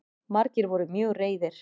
Margir voru mjög reiðir